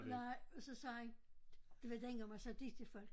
Nej så sagde han det var dengang man sagde De til folk